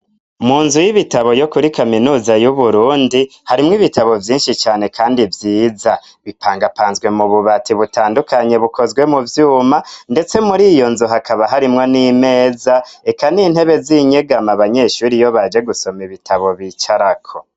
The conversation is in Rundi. munzu y'ibitabo yo kuri kaminuza y'uburundi harimwo ibitabo vyinshi cane kandi vyiza bipangapanzwe mu bubati butandukanye bukozwe mu vyuma ndetse muri iyo nzu hakaba harimwo n'imeza reka n'intebe z'inyegama abanyeshuri iyobaje gusoma ibitabo bicarako